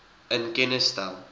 in kennis stel